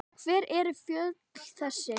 Hver eru fjöll þessi?